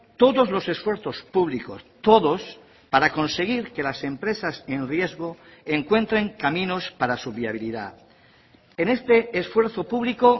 todos los esfuerzos públicos todos para conseguir que las empresas en riesgo encuentren caminos para su viabilidad en este esfuerzo público